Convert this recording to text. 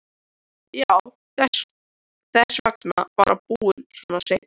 Já, þess vegna var hann búinn svona seint.